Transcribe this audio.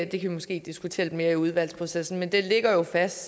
vi måske diskutere lidt mere i udvalgsprocessen det ligger jo fast